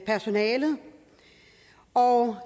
personalet og